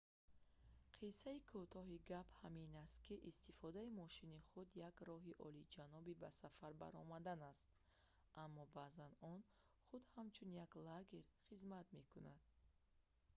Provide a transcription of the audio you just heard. қиссаи кӯтоҳи гап ҳамин ки истифодаи мошини худ як роҳи олиҷаноби ба сафар баромадан аст аммо баъзан он худ ҳамчун лагер хизмат мекунад